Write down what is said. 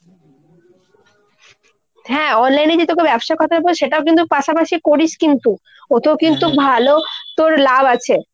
হ্যাঁ online এ যে তোকে ব্যবসার কথা সেটাও কিন্তু পাশাপাশি করিস কিন্তু। ওতেও ভালো তোর লাভ আছে।